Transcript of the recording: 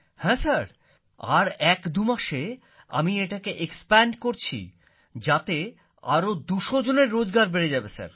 হ্যাঁ স্যার আর একদুমাসে আমি এটাকে এক্সপ্যান্ড করছি এতে আরো ২০০ জনের রোজগার বেড়ে যাবে স্যার